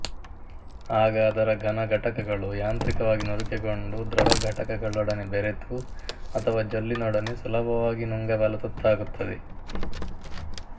ಆಗ ಅದರ ಘನ ಘಟಕಗಳು ಯಾಂತ್ರಿಕವಾಗಿ ನುರಿಕೆಗೊಂಡು ದ್ರವಘಟಕಗಳೊಡನೆ ಬೆರೆತು ಅಥವಾ ಜೊಲ್ಲಿನೊಡನೆ ಸುಲಭವಾಗಿ ನುಂಗಬಲ್ಲ ತುತ್ತಾಗುತ್ತದೆ